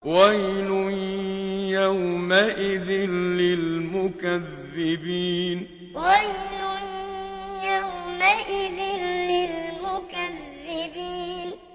وَيْلٌ يَوْمَئِذٍ لِّلْمُكَذِّبِينَ وَيْلٌ يَوْمَئِذٍ لِّلْمُكَذِّبِينَ